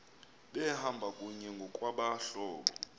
behamba kunye ngokwabahlobo